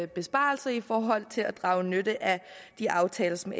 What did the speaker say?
besparelser i forhold til at drage nytte af de aftaler som